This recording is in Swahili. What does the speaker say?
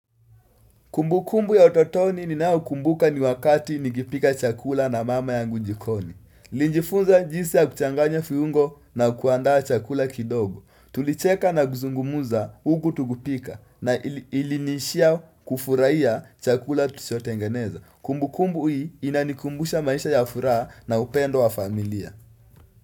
Kumbukumbu ya utotoni ninayokumbuka ni wakati nikipika chakula na mama ya ngujikoni. niLijifunza jinsi ya kuchanganya viungo na kuandaa chakula kidogo. Tulicheka na guzungumuza uku tugupika na ilinishia kufurahiya chakula tuchotengeneza. Kumbukumbu hii inanikumbusha maisha ya furaha na upendo wa familia.